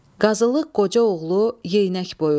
Qazılıq Qoca Yeynək boyu.